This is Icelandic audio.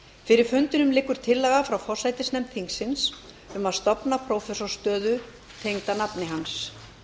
fyrir fundinum liggur tillaga frá forsætisnefnd þingsins um að stofna prófessorsstöðu tengda nafni hans